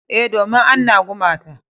E, domin anna gumata.